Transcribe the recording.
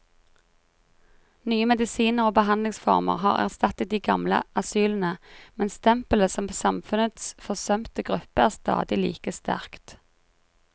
Nye medisiner og behandlingsformer har erstattet de gamle asylene, men stempelet som samfunnets forsømte gruppe er stadig like sterkt.